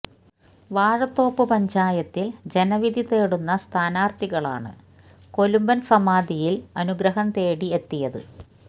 വാഴത്തോപ്പ് പഞ്ചായത്തില് ജനവിധി തേടുന്ന സ്ഥാനാര്ത്ഥികളാണ് കൊലുമ്പന് സമാധിയില് അനുഗ്രഹം തേടി എത്തിയത്